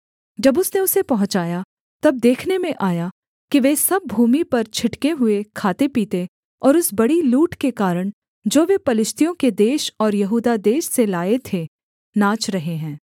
जब उसने उसे पहुँचाया तब देखने में आया कि वे सब भूमि पर छिटके हुए खाते पीते और उस बड़ी लूट के कारण जो वे पलिश्तियों के देश और यहूदा देश से लाए थे नाच रहे हैं